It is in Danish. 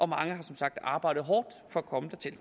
mange har som sagt arbejdet hårdt for at komme dertil